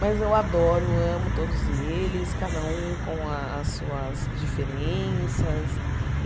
Mas eu adoro, amo todos eles, cada um com as suas diferenças.